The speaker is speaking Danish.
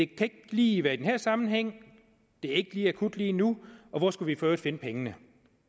kan ikke lige være i den her sammenhæng det er ikke akut lige nu og hvor skulle vi for øvrigt finde pengene